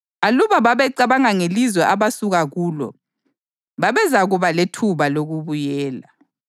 Aluba babecabanga ngelizwe abasuka kulo, babezakuba lethuba lokubuyela.